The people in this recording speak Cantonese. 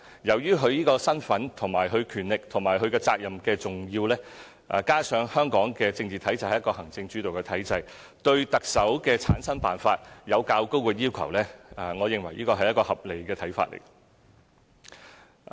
由於行政長官的身份、權力和責任的重要性，加上香港的政治體制是行政主導的體制，對特首的產生辦法有較高的要求，我認為這是一個合理的要求。